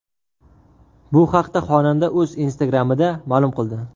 Bu haqda xonanda o‘z Instagram’ida ma’lum qildi .